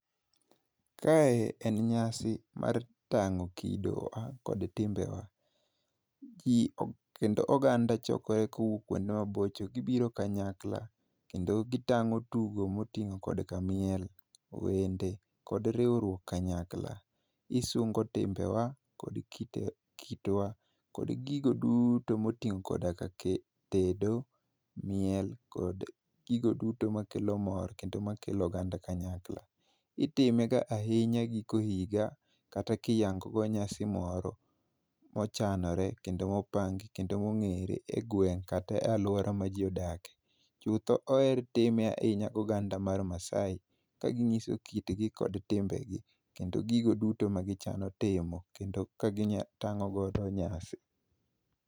Kae en nyasi mar tang'o kido wa kod timbewa. kendo oganda chokore kowuok kuonde mabocho gibiro kanyakla kendo gitang'o tugo moting'o kodka miel, wende kod riwruok kanyakla. Isungo timbewa kod kitwa kod gigo duto moting'o koda ka tedo, miel kod gigo duto makelo mor kendo makelo oganda kanyakla. Itimega ahinya giko higa kata kiyango go nyasi moro mochanre kendo mopangi kendo mong'ere e gweng' kata e alwora ma ji odakie. chutho oher time ahinya goganda mar Maasai kaging'iso kitgi kot timbegi kendo gigo duto magichano timo, kendo kagitang'o godo nyasi.